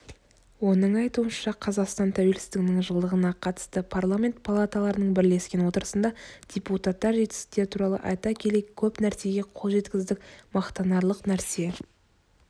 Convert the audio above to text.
оның айтуынша қазақстан тәуелсіздігінің жылдығына қатысты парламент палаталарының бірлескен отырысында депутаттар жетістіктер туралы айта келе көп нәрсеге қол жеткіздік мақтанарлық нәрсе